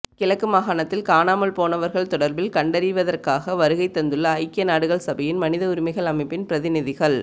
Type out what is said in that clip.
கிழக்கு மாகாணத்தில் காணாமல்போனவர்கள் தொடர்பில் கண்டறிவதற்காக வருகை தந்துள்ள ஐக்கிய நாடுகள் சபையின் மனித உரிமைகள் அமைப்பின் பிரதிநிதிகள்